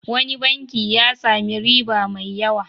Wani banki ya sami riba mai yawa.